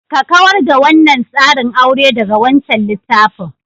Ka kawar da wannan tsarin aure daga wancan littafin.